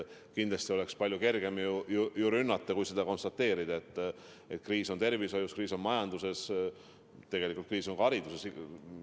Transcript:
Kindlasti oleks palju kergem lihtsalt rünnata kui konstateerida, et kriis on tervishoius, kriis on majanduses, kriis on ka hariduses.